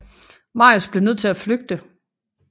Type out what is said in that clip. Marius blev nødt til at flygte